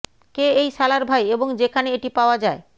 কে এই শালার ভাই এবং যেখানে এটি পাওয়া যায়